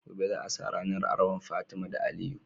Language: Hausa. Gobe za a sa rAnar auren fatima da aliyu